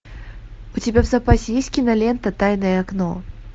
у тебя в запасе есть кинолента тайное окно